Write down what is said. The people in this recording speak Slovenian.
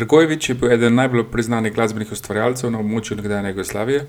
Dragojević je bil eden najbolj priznanih glasbenih ustvarjalcev na območju nekdanje Jugoslavije,